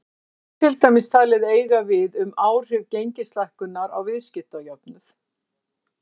Þetta er til dæmis talið eiga við um áhrif gengislækkunar á viðskiptajöfnuð.